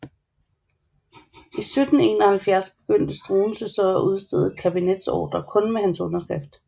I foråret 1771 begyndte Struensee så at udstede kabinetsordrer kun med hans underskrift